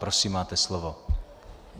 Prosím, máte slovo.